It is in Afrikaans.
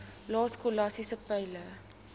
lae skolastiese peile